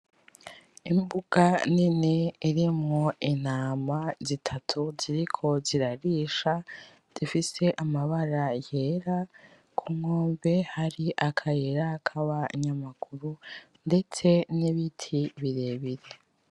Imbuga nini irimwo intama z'itatu ziriko zirarisha zifise amabara yera kunkombe hari akayira kaba nyamaguru ndetse nibiti birebire.